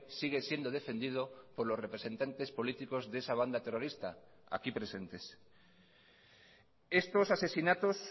sigue siendo defendido por los representantes políticos de esa banda terrorista aquí presentes estos asesinatos